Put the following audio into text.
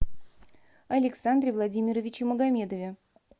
александре владимировиче магомедове